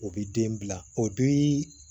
O bi den bila o bii